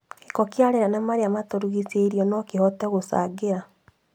Gĩko kĩa rĩera na marĩa matũrigicĩirie no kũhote gũcangĩra